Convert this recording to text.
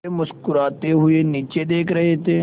वे मुस्कराते हुए नीचे देख रहे थे